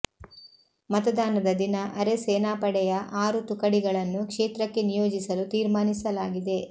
ಮತದಾನದ ದಿನ ಅರೆ ಸೇನಾಪಡೆಯ ಆರು ತುಕಡಿಗಳನ್ನು ಕ್ಷೇತ್ರಕ್ಕೆ ನಿಯೋಜಿಸಲು ತೀರ್ಮಾನಿಸಲಾಗಿದೆ